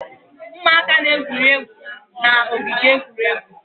Ụmụaka na-egwuri egwu n'ogige egwuregwu